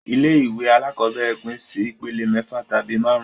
Ilé ìwé alákọ́bẹ̀rẹ̀ pín sí ìpele mẹ́fà tabi máàrún